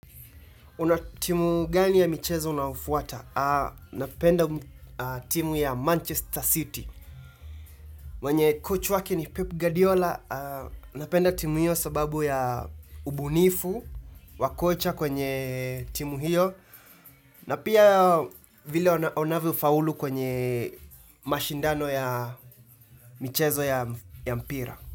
Una timu gani ya michezo unao fuata? Napenda timu ya Manchester City. Mwenye coach wake ni Pep Guardiola. Napenda timu hiyo sababu ya ubunifu. Wakocha kwenye timu hiyo. Na pia vile wana onavyo faulu kwenye mashindano ya michezo ya mpira.